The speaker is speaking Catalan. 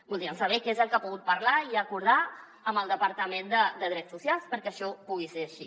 voldríem saber què és el que ha pogut parlar i acordar amb el departament de drets socials perquè això pugui ser així